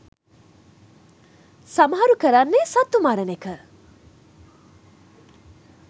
සමහරු කරන්නේ සත්තු මරන එක.